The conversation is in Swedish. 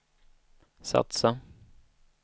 satsa